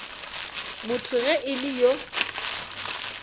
motho ge e le yo